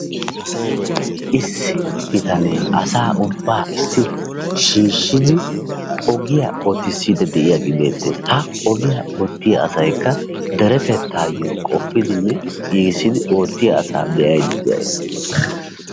Issi bitanee asaa ubbaa ussi kutti shiishshidi ogiya ootissiiddi de"iyage beettes. Ha ogiya oottiya asaykka deretettaayyo qoppidinne giigissidi oottiya asaa be"aydda de"ayis.